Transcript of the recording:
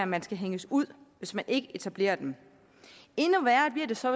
man skal hænges ud hvis man ikke etablerer dem endnu værre bliver det så